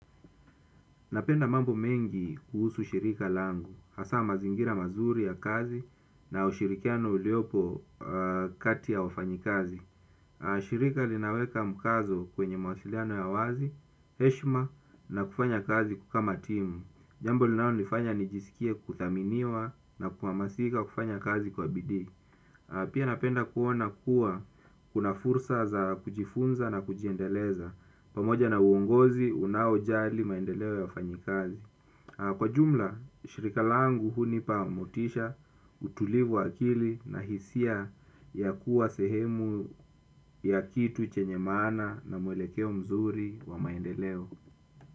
Napenda mambo mengi kuhusu shirika langu. Hasa mazingira mazuri ya kazi na ushirikiano uliopo kati ya wafanyikazi. Shirika linaweka mkazo kwenye mawasiliano ya wazi, heshma na kufanya kazi kama timu. Jambo linalonifanya nijisikie kuthaminiwa na kuhamasika kufanya kazi kwa bidii. Pia napenda kuona kuwa kuna fursa za kujifunza na kujiendeleza pamoja na uongozi, unaojali maendeleo ya wafanyikazi. Kwa jumla, shirika langu hunipa motisha utulivu wa akili na hisia ya kuwa sehemu ya kitu chenye maana na mwelekeo mzuri wa maendeleo.